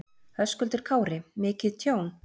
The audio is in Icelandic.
Höskuldur Kári: Mikið tjón?